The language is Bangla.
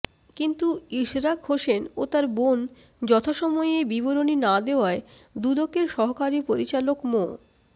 কিন্তু ইশরাক হোসেন ও তার বোন যথাসময়ে বিবরণী না দেওয়ায় দুদকের সহকারী পরিচালক মো